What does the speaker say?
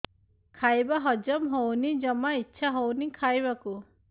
ଖାଇବା ହଜମ ହଉନି ଜମା ଇଛା ହଉନି ଖାଇବାକୁ